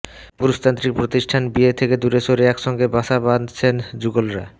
পুরুষতান্ত্রিক প্রতিষ্ঠান বিয়ে থেকে দূরে সরে একসঙ্গে বাসা বাঁধছেন যুগলরা